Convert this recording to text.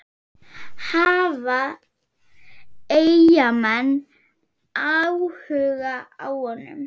Hafa Eyjamenn áhuga á honum?